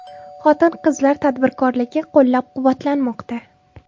Xotin-qizlar tadbirkorligi qo‘llab-quvvatlanmoqda.